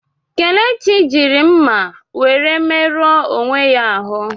Kelechi jiri mma were merụọ onwe ya ahụ.